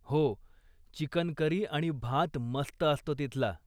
हो, chicken curry आणि भात मस्त असतो तिथला.